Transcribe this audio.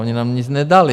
Oni nám nic nedali.